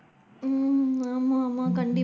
ஹம் ஆமா ஆமா கண்டிப்பா.